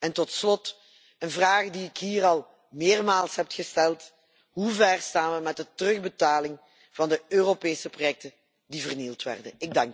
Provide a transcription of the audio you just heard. En tot slot, een vraag die ik hier al meermaals heb gesteld, hoe ver staan we met de terugbetaling van de Europese projecten die vernield werden?